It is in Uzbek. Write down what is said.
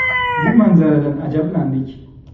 Bu manzaradan ajablandik.